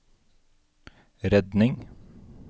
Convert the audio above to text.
redning